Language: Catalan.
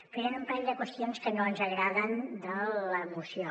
però hi han un parell de qüestions que no ens agraden de la moció